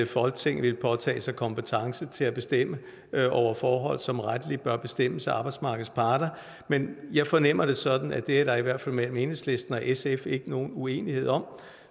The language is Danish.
folketinget vil påtage sig kompetence til at bestemme over forhold som rettelig bør bestemmes af arbejdsmarkedets parter men jeg fornemmer det sådan at det er der i hvert fald mellem enhedslisten og sf ikke nogen uenighed om